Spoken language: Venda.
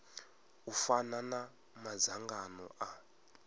u fana na madzangano a